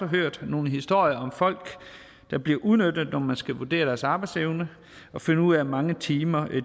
hørt nogle historier om folk der bliver udnyttet når man skal vurdere deres arbejdsevne og finde ud af hvor mange timer